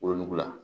Wolonugu la